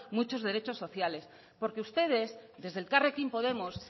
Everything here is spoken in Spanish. muchos derechos sociales porque ustedes desde elkarrekin podemos